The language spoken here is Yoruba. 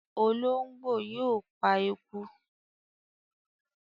Olóńgbó yóò pa eku.